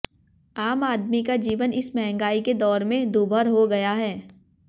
आम आदमी का जीवन इस महंगाई के दौर में दूभर हो गया है